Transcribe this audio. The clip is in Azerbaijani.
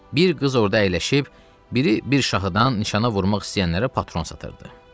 Bir qız orda əyləşib, biri bir şahıdan nişana vurmaq istəyənlərə patron satırdı.